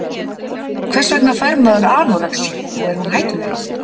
hvers vegna fær maður anorexíu og er hún hættuleg